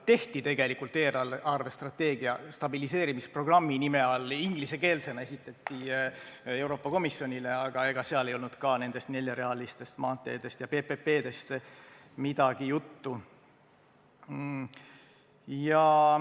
Tehti tegelikult eelarvestrateegia stabiliseerimisprogrammi nime all ja esitati see Euroopa Komisjonile ingliskeelsena, aga ega seal ei olnud ka nendest neljarealistest maanteedest või PPP-dest midagi juttu.